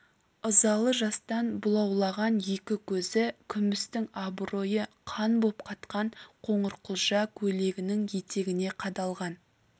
ызалы жастан бұлауланған екі көзі күмістің абыройы қан боп қатқан қоңырқұлжа көйлегінің етегіне қадалған